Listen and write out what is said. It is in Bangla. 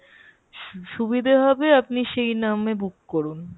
সুবিধা হবে আপনি সেই নাম book করুন